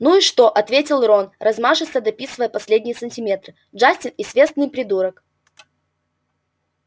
ну и что ответил рон размашисто дописывая последние сантиметры джастин известный придурок